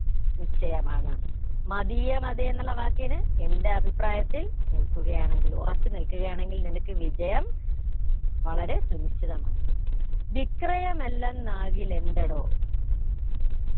നിശ്ചയമാണ് മതീയമതെ എന്നുള്ള വാക്കിന് എന്റെ അഭിപ്രായത്തിൽ നിൽക്കുകയാണെങ്കിൽ ഉറച്ചു നിൽക്കുകയാണെങ്കിൽ നിനക്ക് വിജയം വളരെ സുനിശ്ചിതമാണ് വിക്രയമല്ലന്നാകിലെന്തെടോ